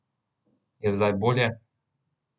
Je zdaj bolje?